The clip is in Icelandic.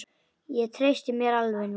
Ég treysti mér alveg núna!